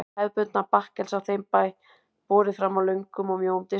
Það var hið hefðbundna bakkelsi á þeim bæ, borið fram á löngum og mjóum diskum.